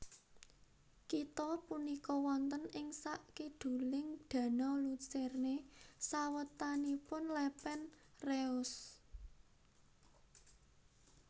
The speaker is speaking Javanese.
Kitha punika wonten ing sakiduling Danau Lucerne sawetanipun Lepen Reuss